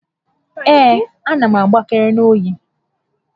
Ee, a na m agbakere n'oyi